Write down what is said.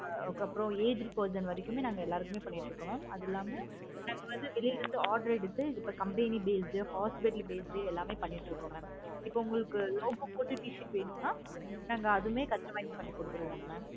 அதுக்கு அப்பறம் aged person வரைக்குமுமே நாங்க எல்லாருக்கும் பண்ணிட்டு இருக்கோம். mam அது இல்லாம நாங்க வந்து வெளியில இருந்து order எடுத்து இப்போ company based, hospital based எல்லாமே இப்ப பண்ணிட்டு இருக்கோம். mam இப்போ உங்களுக்கு logo போட்ட t-shirt வேணும்னா நாங்க அதுவும் customize பண்ணி கொடுத்துருவோம். mam